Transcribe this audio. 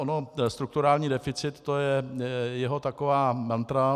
Ono strukturální deficit, to je jeho taková mantra.